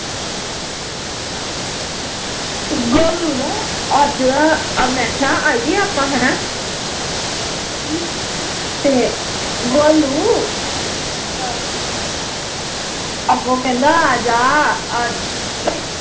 ਗੋਲੂ ਨਾ ਅੱਜ ਨਾ, ਮੈਂ ਕਿਹਾ ਆਈਏ ਆਪਾਂ ਹੇਨਾ ਤੇ, ਗੋਲੂ ਅੱਗੋਂ ਕਹਿੰਦਾ ਆਜਾ ਆ